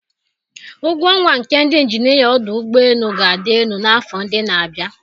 Ụgwọ ọnwa nke ndị injinia ọdụ ụgbọ elu ga-adị elu n'afọ ndị na-abịa